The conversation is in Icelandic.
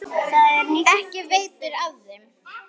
Ekki veitir þeim af.